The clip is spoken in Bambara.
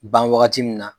Ban wagati min na